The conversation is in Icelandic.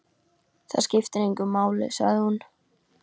Það skiptir engu máli, sagði hún.